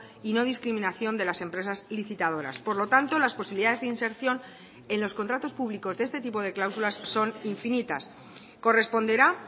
y no discriminación de las empresas licitadoras por lo tanto las posibilidades de inserción en los contratos públicos de este tipo de cláusulas son infinitas corresponderá